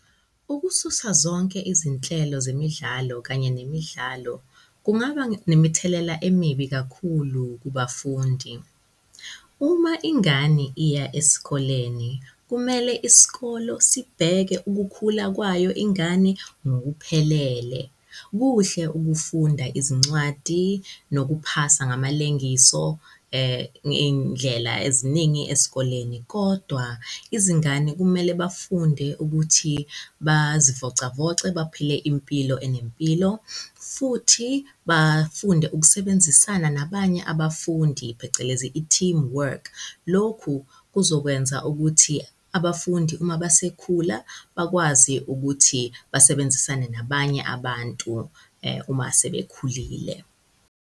Ukususa zonke izinhlelo zemidlalo kanye nemidlalo kungaba nemithelela emibi kakhulu kubafundi. Uma ingane iya esikoleni, kumele isikolo sibheke ukukhula kwayo ingane ngokuphelele. Kuhle ukufunda izincwadi nokuphasa ngamalengiso ngey'ndlela eziningi esikoleni, kodwa izingane kumele bafunde ukuthi bazivocavoce, baphile impilo enempilo futhi bafunde ukusebenzisana nabanye abafundi phecelezi i-team work. Lokhu kuzokwenza ukuthi abafundi uma basekhula bakwazi ukuthi basebenzisane nabanye abantu uma sebekhulile.